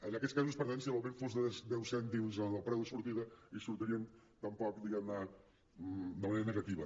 en aquests casos per tant si l’augment fos de deu cèntims en el preu de sortida no hi sortirien tampoc diguem ne de manera negativa